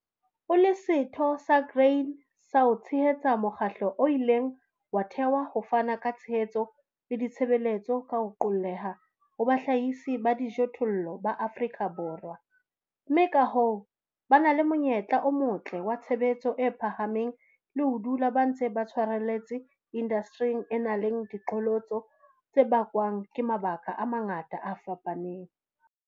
O LE SETHO SA GRAIN SA O TSHEHETSA MOKGATLO O ILENG WA THEHWA HO FANA KA TSHEHETSO LE DITSHEBELETSO KA HO QOLLEHA HO BAHLAHISI BA DIJOTHOLLO BA AFRIKA BORWA, MME KA HOO, BA NA LE MONYETLA O MOTLE WA TSHEBETSO E PHAHAMENG LE HO DULA BA NTSE BA TSHWARELLETSE INDASTERING E NANG LE DIQHOLOTSO TSE BAKWANG KE MABAKA A MANGATA A FAPANENG.